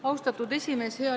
Austatud esimees!